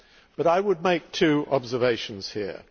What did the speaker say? But I would make two observations here.